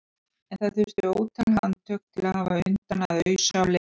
En það þurfti ótal handtök til að hafa undan að ausa á leiðinni.